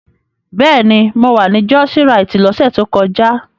Bẹ́ẹ̀ni, mo wà ní jọ́ọ́síraìtì lọ́sẹ̀ tó kọjá.